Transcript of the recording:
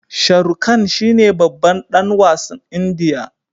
Sharukhan shine babban dan wasn indiya